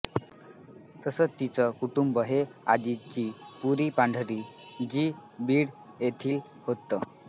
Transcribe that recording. तसं त्यांचं कुटुंब हे आजची पुरी पांढरी जि बीड येथील होत